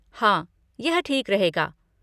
हाँ, यह ठीक रहेगा।